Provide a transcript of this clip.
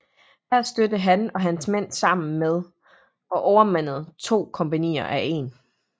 Her stødte han og hans mænd sammen med og overmandede to kompagnier af 1